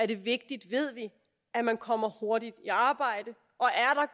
det er vigtigt at man kommer hurtigt i arbejde